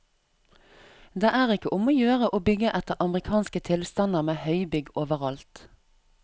Det er ikke om å gjøre å bygge etter amerikanske tilstander med høybygg overalt.